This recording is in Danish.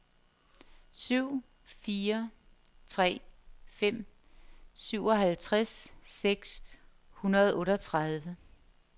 syv fire tre fem syvoghalvtreds seks hundrede og otteogtredive